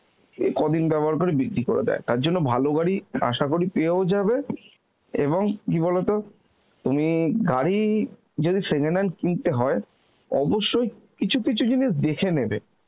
কে কদিন ব্যবহার করে বিক্রি করে দেয় তার জন্য ভালো গাড়ি আশা করি পেয়েই যাবে এবং কি বলতো তুমি গাড়ি যদি second hand কিনতে হয় অবশ্যই কিছু কিছু জিনিস দেখে নেবে